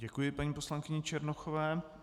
Děkuji paní poslankyni Černochové.